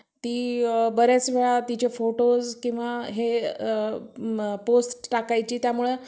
ती बऱ्याच वेळा तिचे photos किंवा हे post टाकायची त्यामुळे.